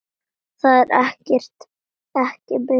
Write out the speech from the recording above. Það er ekki mitt.